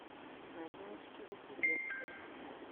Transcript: мариночки василевской